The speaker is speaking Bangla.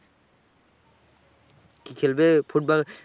কি খেলবে? ফুটবল